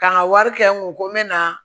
Ka n ka wari kɛ n kun ko n bɛ na